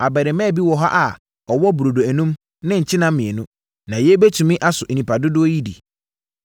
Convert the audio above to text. “Abarimaa bi wɔ ha a ɔwɔ burodo enum ne nkyenam mmienu; na yei bɛtumi aso nnipa dodoɔ yi di?”